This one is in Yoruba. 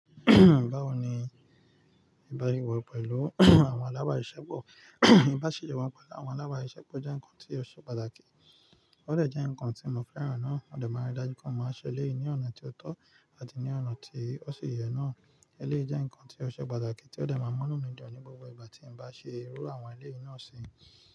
Báwo ni ìbáṣepọ̀ pẹ̀lú àwọn alábà siṣẹ́ pọ̀ ìbáṣepọ̀ pẹ̀lú àwọn alábà siṣẹ́ pọ̀ jẹ́ nǹkan tí ó ṣe pàtàkì. Óò dejẹ́ nǹkan tí mo fẹ́ràn náà, mó de máa rí dájú pé máa ṣe elé yìí ní ọ̀nà tí ó tọ́ àti ní ọ̀nà tí ó sì yẹ náà. Eléyìí jẹ́ nǹkan tí ó ṣe pàtàkì tí ó de máa munù mi dẹ ní gbogbo ìgbà tí n bá ṣe irú àwọn elé yìí náà ṣi.